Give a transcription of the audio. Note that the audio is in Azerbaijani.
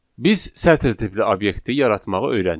Biz sətr tipli obyekti yaratmağı öyrəndik.